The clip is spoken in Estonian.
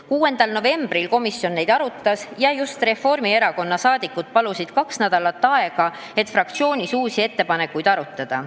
6. novembril komisjon neid arutas ja just Reformierakonna liikmed palusid kaks nädalat aega, et fraktsioonis uusi ettepanekuid arutada.